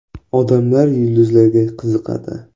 Odamlar yulduzlarga qiziqadi.